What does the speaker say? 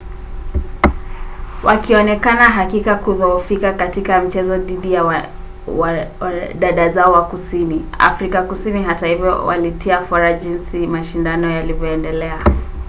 wakionekana hakika kudhoofika katika mchezo dhidi ya dada zao wa kusini afrika kusini hata hivyo walitia fora jinsi mashindano yalivyoendelea